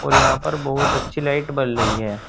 और यहां पर बहुत अच्छी लाइट बल रही है।